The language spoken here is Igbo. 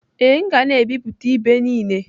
Ee, m ga na-ebipụta ibe niile.